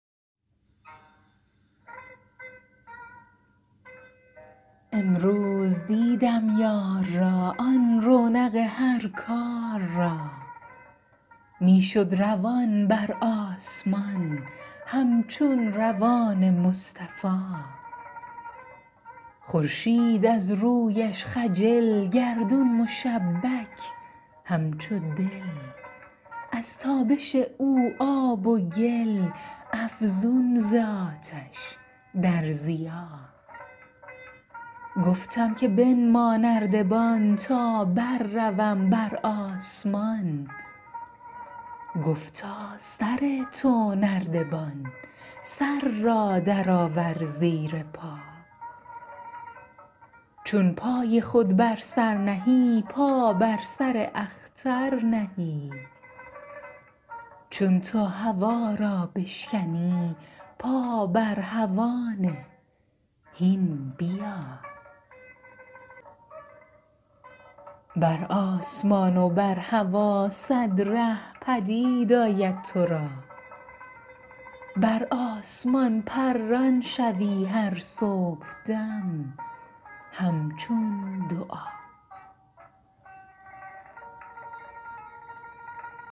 امروز دیدم یار را آن رونق هر کار را می شد روان بر آسمان همچون روان مصطفا خورشید از رویش خجل گردون مشبک همچو دل از تابش او آب و گل افزون ز آتش در ضیا گفتم که بنما نردبان تا برروم بر آسمان گفتا سر تو نردبان سر را درآور زیر پا چون پای خود بر سر نهی پا بر سر اختر نهی چون تو هوا را بشکنی پا بر هوا نه هین بیا بر آسمان و بر هوا صد ره پدید آید تو را بر آسمان پران شوی هر صبحدم همچون دعا